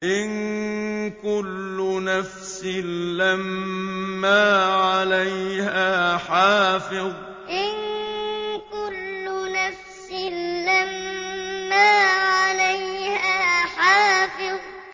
إِن كُلُّ نَفْسٍ لَّمَّا عَلَيْهَا حَافِظٌ إِن كُلُّ نَفْسٍ لَّمَّا عَلَيْهَا حَافِظٌ